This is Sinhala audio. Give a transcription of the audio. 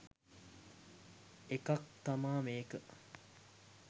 එකක් තමා මේක.